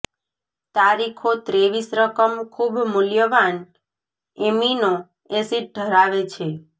તારીખો ત્રેવીસ રકમ ખૂબ મૂલ્યવાન એમિનો એસિડ ધરાવે છે